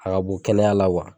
A ka kɛnɛya la wa.